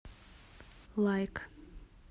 лайк